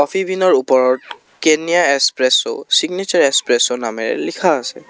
ওপৰত কেননিয়া espresso signature espresso নামেৰে লিখা আছে।